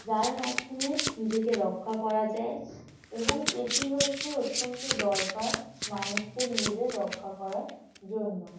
যার মাধ্যমে নিজেকে রক্ষা করা যায় এবং এটি হচ্ছে অত্যন্ত দরকার মানুষকে নিজের রক্ষা করার জন্য।